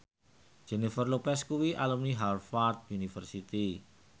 Jennifer Lopez kuwi alumni Harvard university